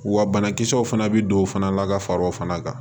Wa banakisɛw fana bɛ don o fana la ka far'o fana kan